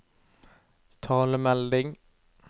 talemelding